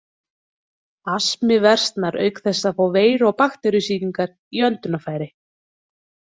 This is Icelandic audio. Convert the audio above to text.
Astmi versnar auk þess við að fá veiru- og bakteríusýkingar í öndunarfæri.